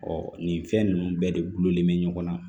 nin fɛn ninnu bɛɛ de gulonlen bɛ ɲɔgɔn na